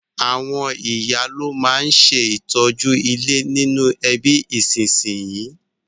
Àwon ìyá lo ma n se ìtọ́jú ilé nínú ẹbí ìsínsinyì